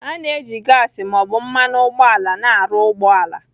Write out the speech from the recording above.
A na-eji gasị ma ọ bụ mmanụ ụgbọala na-arụ ụgbọ ala